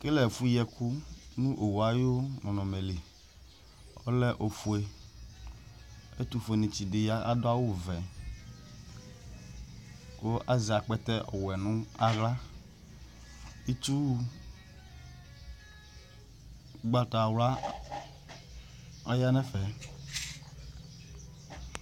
Ekele efu yi ɛku nu owu ayu nɔnɔme lɩ Ɔlɛ ofue, ɛtu fue ni tsi di ya adu awu ʋɛ ku azɛ akpɛtɛ ɔwɛ nu aɣla Ɩtsu ugbata wla ɔya n'ɛfɛ